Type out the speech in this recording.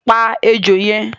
Pa ejò yẹn!